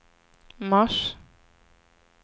mars